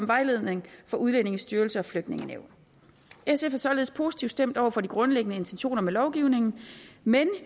vejledning fra udlændingestyrelsen og flygtningenævnet sf er således positivt stemt over for de grundlæggende intentioner med lovgivningen men